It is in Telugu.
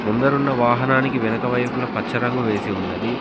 ముందరన్న వాహనానికి వెనకవైపులా పచ్చ రంగు వేసి ఉన్నది.